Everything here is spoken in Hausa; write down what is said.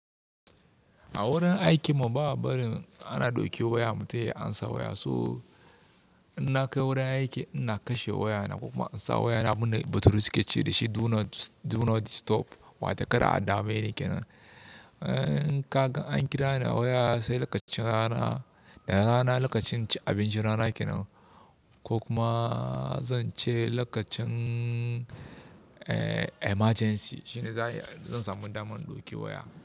A wurin aikin mu ba a barin ana ɗauke waya mutum ya amsa waya. So in na kai wurin aiki ina kashe wayana ko kuma in sa wayana abinda bature su ke ce da shi "Do not, do not disturb" wato kada a dame ni kenan. In ka gan kira ni a waya sai lokacin rana, da rana lokacin cin abincin rana kenan ko kuma zan ce lokacin emergency shine zan samu dama in ɗauki waya.